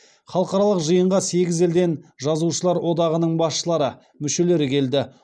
халықаралық жиынға сегіз елден жазушылар одағының басшылары мүшелері келді